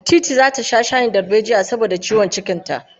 Teetea zata sha shayin darbejiya saboda ciwon cikinta.